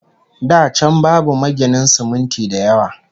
Da can babu maginan siminti da yawa